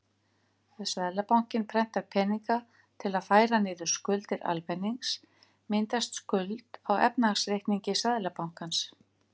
Ef Seðlabankinn prentar peninga til að færa niður skuldir almennings myndast skuld á efnahagsreikningi Seðlabankans.